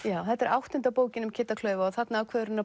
þetta er áttunda bókin um Kidda klaufa og þarna ákveður hann að